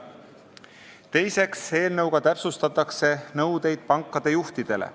Teiseks, eelnõuga täpsustatakse nõudeid pankade juhtidele.